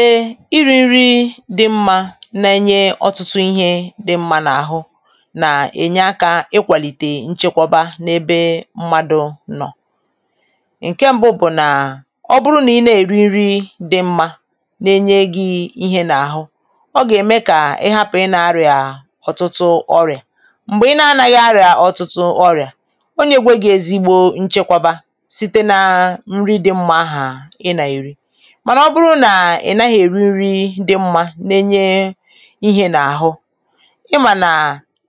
e ịrị nrị dị mmā na enye ọtụtụ ihē dị mmā n’àhụ nà ènye aka ịkwàlị̀te nchekwọba n’ebe mmadū nọ̀ ị̀nkẹ mbụ bụ̀ nà ọ bụrụ nà ị nà-èri nrị dị mmā na enye gị ihe n’àhụ ọ gà ème kà ị hapụ ị na-arịà ọ̀tụtụ ọrịà m̀gbe ị na anaghị àrịà ọ̀tụtụ ọrịà ọ nyegwe gị ezigbo nchekwaba site naa nrị dị mmā hà ị nà èri mànà ọ bụrụ nà ị naghị èri nrị dị mmā na enye ihē n’àhụ ị mànà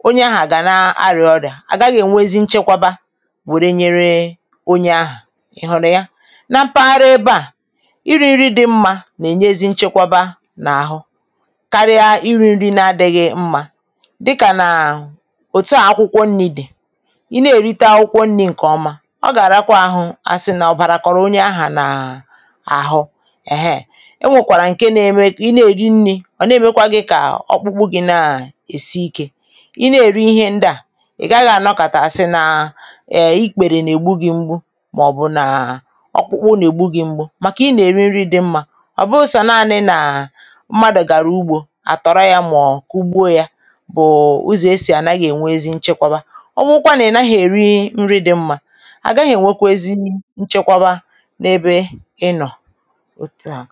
onye aha gà naa arịà ọrịà à gaghị e nwezi nchekwaba wòre nyere onye ahụ ịhùrị̀ ya na mpaghara ebe à ịrị̄ nrị dị mmā nà ènye ezị nchekwaba nà àhụ karịa ịrị̄ nrị na adịghị mmā dịkà nà òtuà akwụkwọ nnī dị̀ ị nà èrite akwụkwọ nrị̄ ǹke ọma ọ gà àrakwa ahụ à sì nà ọbàrà kọrọ onye ahà nà àhụ ẹ̀hẹ e nwòkwàrà ǹke na eme kà ị na èri nnị̄ ọ̀ na èmekwa gị kà ọkpụkpụ gị nà èsi ikē ị nà èri ihē ndà ị̀ gaghị ànọkàta sì nà ẹ ikpèrè nà ègbụ́ gị mgbu mà ọ̀ bụ̀ nà ọkpụkpụ nà ègbū gị mgbu màkà ị nà èri nrị dị mmā ọ bụụ sọ naanị na mmadù gàrà ugbō à tọrọ ya mà ọ kugbuo ya bùù ụzọ̀ e sì ànaghị ènwe ezi nchekwaba ọ bụkwa nà ị naghị èri nrị dị mmā àgaghị ènwekwo ezii nchekwaba n’ebe ịnọ̀ ótú à